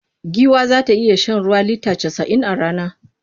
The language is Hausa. Giwa za ta iya shan ruwa lita casa'in a rana.